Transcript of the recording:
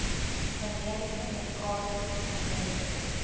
generiese medikasie generiese